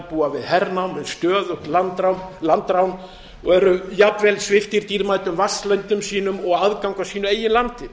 búa við hernám með stöðugt landrán og eru jafnvel sviptir dýrmætum vatnsleö árum sínum og aðgangi að sínu eigin landi